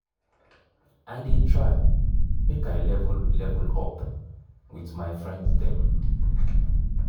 i dey try make i level level up wit my friends dem.